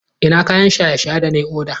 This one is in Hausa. Ina kayan shaye-shaye da na yi oda?